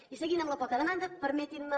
i seguint amb la poca demanda permetin me